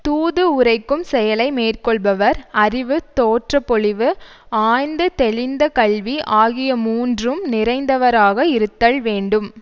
தூது உரைக்கும் செயலை மேற்கொள்பவர் அறிவு தோற்றப் பொலிவு ஆய்ந்து தெளிந்த கல்வி ஆகிய மூன்றும் நிறைந்தவராக இருத்தல் வேண்டும்